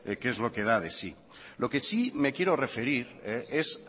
qué es lo que da de sí lo que sí me quiero referir es